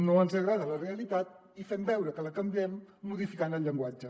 no ens agrada la realitat i fem veure que la canviem modificant el llenguatge